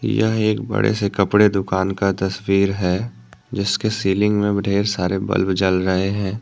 यह एक बड़े से कपड़े दुकान का तस्वीर है। जिसके सीलिंग में ढेर सारे बल्ब जल रहे हैं।